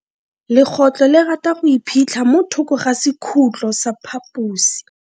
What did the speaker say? Legotlo le rata go iphitlha mo thoko ga sekhutlo sa phaposi.